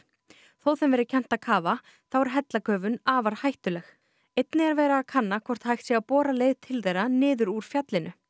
þó þeim verði kennt að kafa þá er afar hættuleg einnig er verið að kanna hvort hægt sé að bora leið til þeirra niður úr fjallinu